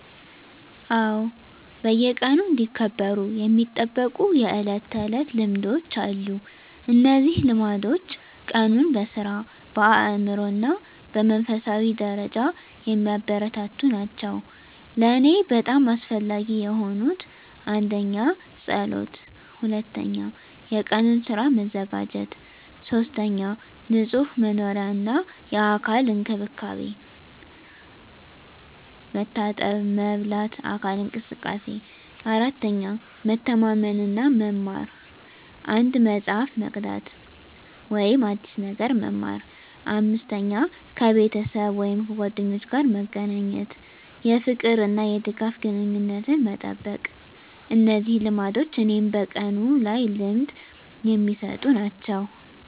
አዎ፣ በየቀኑ እንዲከበሩ የሚጠበቁ የዕለት ተዕለት ልማዶች አሉ። እነዚህ ልማዶች ቀኑን በሥራ፣ በአእምሮ እና በመንፈሳዊ ደረጃ የሚያበረታቱ ናቸው። ለእኔ በጣም አስፈላጊ የሆኑት: 1. ጸሎት 2. የቀኑን ሥራ መዘጋጀት 3. ንጹህ መኖሪያ እና የአካል እንክብካቤ፣ መታጠብ፣ መበላት፣ አካል እንቅስቃሴ። 4. መተማመን እና መማር፣ አንድ መጽሐፍ መቅዳት ወይም አዲስ ነገር መማር። 5. ከቤተሰብ ወይም ጓደኞች ጋር መገናኘት፣ የፍቅር እና የድጋፍ ግንኙነትን መጠበቅ። እነዚህ ልማዶች እኔን በቀኑ ላይ ልምድ የሚሰጡ ናቸው።